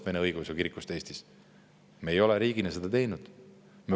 Me ei ole riigina seda teinud.